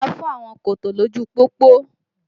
Ṣọ́ra fún àwọn kòtò lójú pópó!